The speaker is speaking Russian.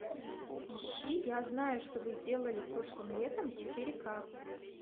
ищи я знаю что вы сделали прошлым летом четыре ка